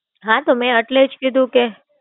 હા, તો મેં એટલે જ કીધું કે